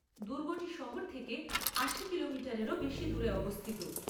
দুর্গটি শহর থেকে আশি কিলোমিটারেরও বেশি দূরে অবস্থিত।